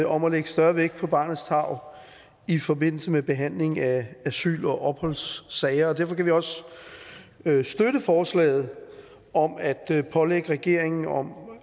om at lægge større vægt på barnets tarv i forbindelse med behandlingen af asyl og opholdssager og derfor kan vi også støtte forslaget om at pålægge regeringen